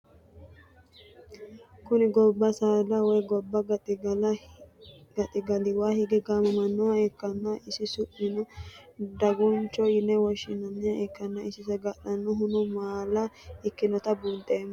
Kuni goba saada woyi goba gaxigalawa hige gamamanoha ikana isi su'mino daguncho yine woshinaniha ikana isino sagal'anohu maala ikinota bunxeeno